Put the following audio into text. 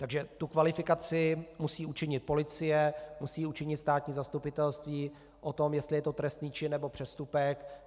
Takže tu kvalifikaci musí učinit policie, musí učinit státní zastupitelství o tom, jestli je to trestný čin, nebo přestupek.